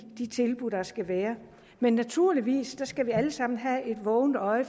de tilbud der skal være men naturligvis skal vi alle sammen have et vågent øje